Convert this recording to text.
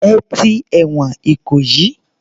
Ẹ ti ẹ̀wọ̀n Ìkòyí.